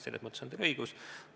Selles mõttes on teil õigus.